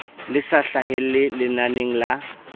le sa hlahelle lenaneng la